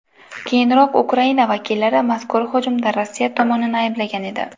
Keyinroq Ukraina vakillari mazkur hujumda Rossiya tomonini ayblagan edi .